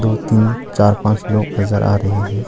दो तीन चार पांच लोग नजर आ रहे हैं।